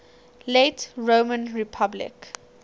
late roman republic